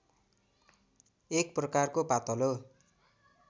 एक प्रकारको पातलो